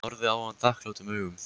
Hún horfði á hann þakklátum augum.